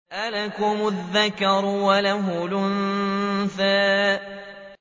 أَلَكُمُ الذَّكَرُ وَلَهُ الْأُنثَىٰ